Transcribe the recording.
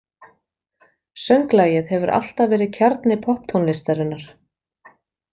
Sönglagið hefur alltaf verið kjarni popptónlistarinnar.